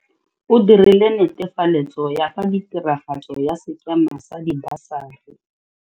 O dirile netefaletso ya fa tiragatso ya sekema sa dibasari.